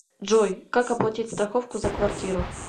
джой как оплатить страховку за квартиру